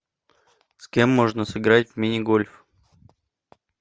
с кем можно сыграть в мини гольф